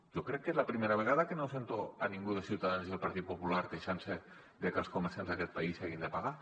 jo crec que és la primera vegada que no sento a ningú de ciutadans i del partit popular queixant se de que els comerciants d’aquest país hagin de pagar